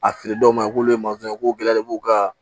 A fili dɔw ma k'olu ye masɔn ye k'u gɛlɛyalen b'u ka